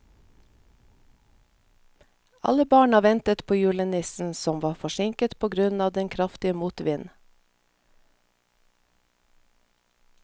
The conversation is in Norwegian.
Alle barna ventet på julenissen, som var forsinket på grunn av den kraftige motvinden.